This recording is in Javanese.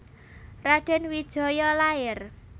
Radèn Wijaya lair